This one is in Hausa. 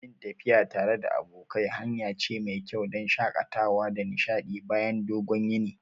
Yin tafiya tare da abokai hanya ce mai kyau don shakatawa da nishadi bayan dogon yini.